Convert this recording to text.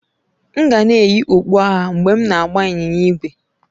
M ga na-eyi okpu agha mgbe m na-agba ịnyịnya ígwè.